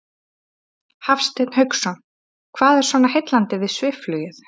Hafsteinn Hauksson: Hvað er svona heillandi við svifflugið?